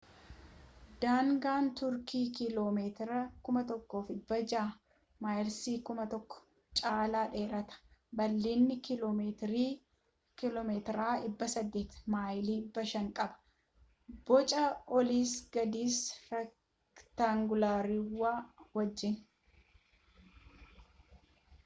daangaan tuurkii kiiloo meetira 1600 maayilii 1,000 caalaa dheerata bal’iinna kiiloo meetira 800 maayilii 500 qaba boca olis gadis reektaanguulaarawaa wajjin